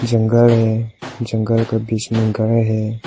जंगल है जंगल का बीच में घर है।